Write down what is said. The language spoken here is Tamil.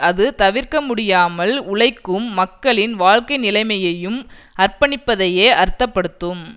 அது தவிர்க்க முடியாமல் உழைக்கும் மக்களின் வாழ்க்கை நிலைமையை அர்ப்பணிப்பதையே அர்த்தப்படுத்தும்